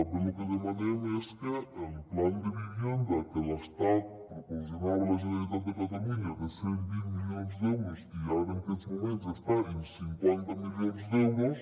també lo que demanem és que el plan de vivienda que l’estat proporcionava a la generalitat de catalunya de cent i vint milions d’euros i que ara en aquests moments està en cinquanta milions d’euros